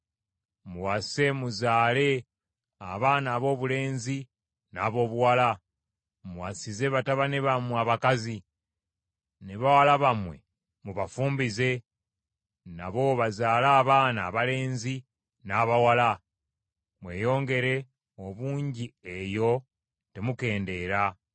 Muwase muzaale abaana aboobulenzi n’aboobuwala; muwasize batabani bammwe abakazi, ne bawala bammwe mubafumbize, nabo bazaale abaana abalenzi n’abawala. Mweyongere obungi eyo, temukendeera.